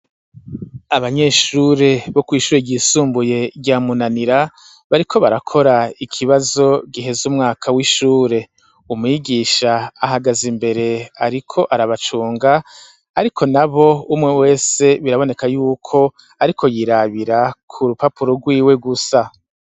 Abanyeshure bo kw'ishure ryisumbuye rya Munanira, bariko barakora ikibazo giheza umwaka w'ishure. Umwigisha ahagaze imbere ariko arabacunga ariko nabo, umwe wese biraboneka yuko ariko yirabira ku rupapuro rwiwe gusa.